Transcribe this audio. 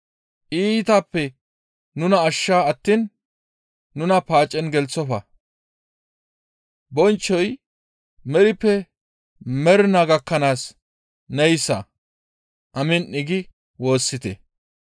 Iitappe nuna ashsha attiin nuna paacen gelththofa; bonchchoy merippe mernaa gakkanaas neyssa. Amiin› gi woossite.